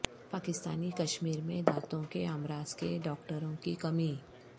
پاکستانی کشمیر میں دانتوں کے امراض کے ڈاکٹروں کی کمی